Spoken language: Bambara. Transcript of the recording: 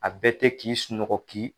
A bɛ tɛ k'i sunɔgɔ ki.